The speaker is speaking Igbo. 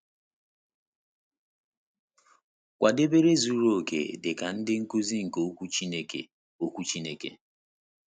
Kwadebere Zuru Oke Dị Ka Ndị Nkuzi nke Okwu Chineke Okwu Chineke